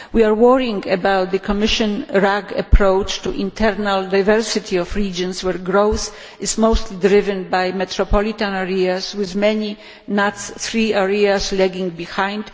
We are worried about the Commission's RAG approach to the internal diversity of regions, where growth is mostly driven by metropolitan areas with many NUTS 3 areas lagging behind.